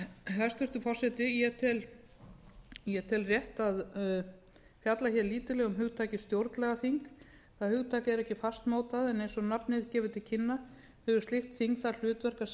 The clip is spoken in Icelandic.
hæstvirtur forseti ég tel rétt að fjalla hér lítillega um hugtakið stjórnlagaþing það hugtak er ekki fastmótað en eins og nafnið gefur til kynna hefur slíkt þing það hlutverk að semja